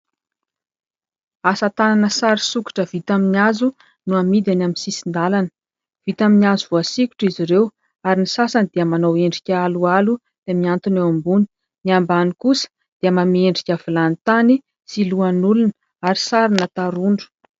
Asa tanana sary sikotra vita amin'ny hazo no amidy eny amin'ny sisin-dalana, vita amin'ny hazo voasikotra izy ireo ary ny sasany dia manao endrika aloalo dia mihantona eo ambony. Ny ambany kosa dia manome endrika vilany tany sy lohan'olona ary sarina tarondro.